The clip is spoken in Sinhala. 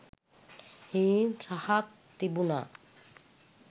හීන් රහක් තිබුනා.